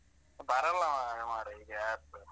ಬರಲ್ಲ ಮಾರ್ರೆ ಈಗ ಯಾರ್ಸ.